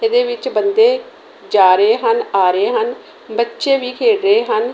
ਏਹਦੇ ਵਿੱਚ ਬੰਦੇ ਜਾ ਰਹੇ ਹਨ ਆ ਰਹੇ ਹਨ ਬੱਚੇ ਵੀ ਖੇਡ ਰਹੇ ਹਨ।